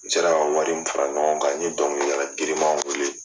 N sera ka wari min fara ɲɔgɔn kan n ye dɔnkilidala girinmanw wele